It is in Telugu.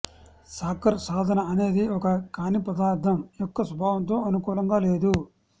సాకర్ సాధన అనేది ఒక కాని పదార్థం యొక్క స్వభావంతో అనుకూలంగా లేదు